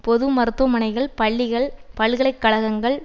பொது மருத்துவமனைகள் பள்ளிகள் பல்கலை கழகங்கள்